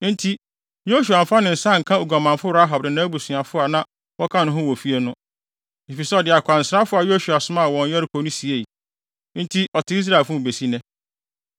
Enti, Yosua amfa ne nsa anka oguamanfo Rahab ne nʼabusuafo a na wɔka ne ho wɔ fie no, efisɛ ɔde akwansrafo a Yosua somaa wɔn Yeriko no siei. Enti ɔte Israelfo mu besi nnɛ.